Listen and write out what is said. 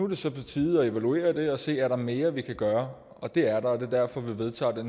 det så på tide at evaluere det og se om mere vi kan gøre og det er der det er derfor vi vedtager det